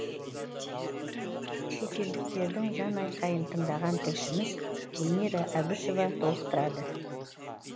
шетелдіктердің жан айқайын тыңдаған тілшіміз гүлмира әбішева толықтырады